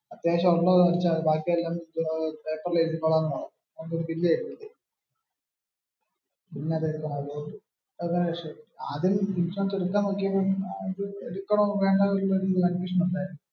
അത്യാവശ്യം ഉള്ളത് അടച്ചാൽ മതി ബാക്കി എല്ലാം പേപ്പറിൽ എഴുതിക്കോളാം എന്ന പറഞ്ഞെ. Bill തെരുവല്ലോ. ആദ്യം ഇൻഷുറൻസ് എടുക്കണോ വേണ്ടയോ എന്ന് ഒരു confusion ഉണ്ടായിരുന്നു.